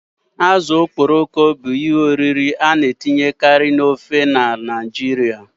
Azụ azụ̀ bụ ihe oriri a na-ejikarị na ofe Naijiria.